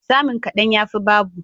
Samun kadan, yafi babu.